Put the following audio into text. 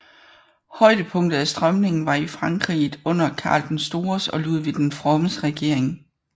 Højdepunktet af strømningen var i Frankerriget under Karl den Stores og Ludvig den Frommes regering